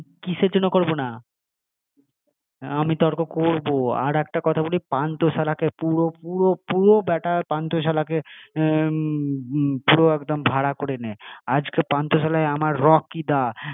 আমার সাথে কিসের জন্য করবো না? তর্ক করবে না আমি তর্ক করবো আর একটা কথা বলি পান্থশালাকে পুরো পুরো পুরো ব্যাটা পান্থশালাকে পুরো একদম ভাড়া করে নে আজকে পান্থশালায় আমার রকি দা